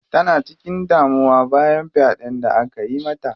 Tana cikin damuwa bayan faɗen da akayi mata.